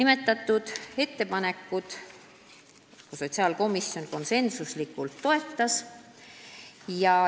Seda ettepanekut toetas sotsiaalkomisjon konsensusega.